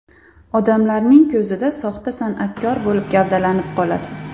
Odamlarning ko‘zida soxta san’atkor bo‘lib gavdalanib qolasiz.